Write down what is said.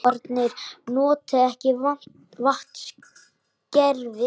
Íbúarnir noti ekki vatnskerfið